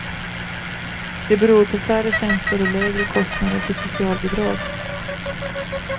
Det beror på färre tjänster och lägre kostnader för socialbidrag.